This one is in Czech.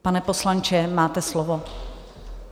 Pane poslanče, máte slovo.